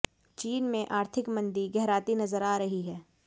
चीन में आर्थिक मंदी गहराती नजर आ रही है